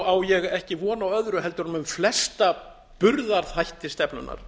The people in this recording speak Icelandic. á ég ekki von á öðru heldur en um flesta burðarþætti stefnunnar